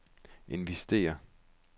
investere